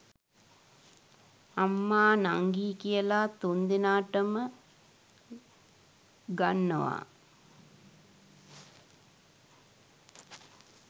අම්මා නංගි කියලා තුන්දෙනාටම ගන්නවා